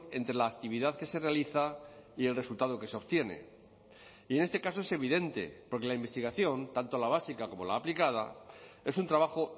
entre la actividad que se realiza y el resultado que se obtiene y en este caso es evidente porque la investigación tanto la básica como la aplicada es un trabajo